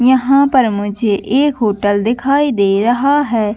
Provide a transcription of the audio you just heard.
यहाँ पर मुझे एक होटल दिखाई दे रहा है।